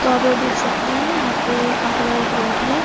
तो आप लोग देख सकते है यहाँ पे काफी बड़ा एक रोड है।